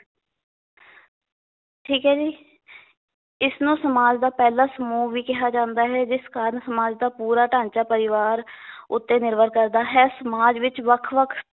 ਠੀਕ ਏ ਜੀ ਇਸਨੂੰ ਸਮਾਜ ਦਾ ਪਹਿਲਾਂ ਸਮੂਹ ਵੀ ਕਿਹਾ ਜਾਂਦਾ ਹੈ ਜਿਸ ਕਾਰਨ ਸਮਾਜ ਦਾ ਪੂਰਾ ਢਾਂਚਾ ਪਰਿਵਾਰ ਉੱਤੇ ਨਿਰਭਰ ਕਰਦਾ ਹੈ ਸਮਾਜ ਵਿਚ ਵੱਖ-ਵੱਖ